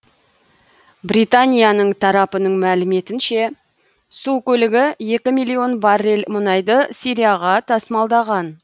британияның тарапының мәліметінше су көлігі екі миллион баррель мұнайды сирияға тасымалдаған